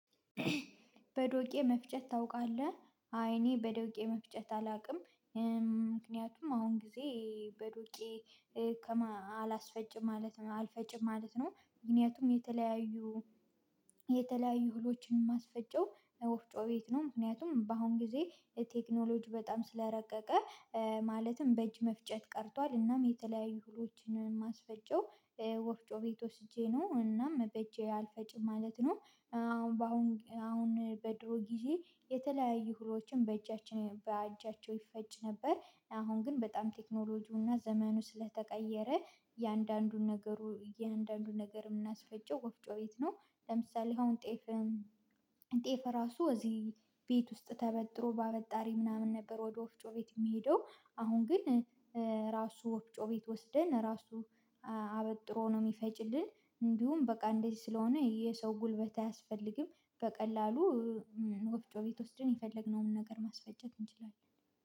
በዶቄ መፍጨት ታውቃለህ አይ እኔ በዶቄ መፍጨት አላውቅም። ምክንያቱም አሁን ጊዜ በዶቄ አላስፈጭም ማለት አልፈጭም ማለት ነው። ምክንያቱም የተለያዩ የተለያዩ እህሎችን ማስፈጨው ወፍጮ ቤት ነው። ምክንያቱም በአሁን ጊዜ ቴክኖሎጂ በጣም ስለረቀቀ። ማለትም በእጅ መፍጨት ቀርቷል እናም የተለያዩ እህሎችን ማስፈጨው ወፍጮ ቤት ወስጄ ነው። እናም በእጄ አልፈጭም ማለት ነው። አሁን በአሁን አሁን በድሮ ጊዜ የተለያዩ እህሎችን በእጃችን በእጃቸው ይፈጭ ነበር። አሁን ግን በጣም ቴክኖሎጂውና ዘመኑ ስለተቀየረ እያንዳንዱን ነገሩ አያንዳንዱን ነገር የምናስፈጨው ወፍጮ ቤት ነው። ለምሳሌ አሁን ጤፍ ጤፍ ራሱ እዚህ ቤት ውስጥ ተበጥሮ ባበጣሪ ምናምን ነበር ወደ ወፍጮ ቤት የሚሄደው። አሁን ግን ራሱ ወፍጮ ቤት ወስደን ራሱ አበጥሮ ነው የሚፈጭልን። እንዲሁም በቃ እንደዚህ ስለሆነ የሰው ጉልበት አያስፈልግም። በቀላሉ ወፍጮ ቤት ወስደን የፈለግነውን ነገር ማስፈጨት እንችላለን